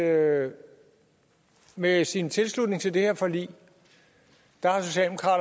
at med sin tilslutning til det her forlig